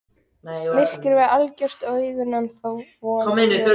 Myrkrið var algjört og augun ennþá vön ljósinu.